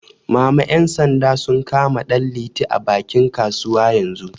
Mama ƴan sanda sun kama Danliti a bakin kasuwa yanzu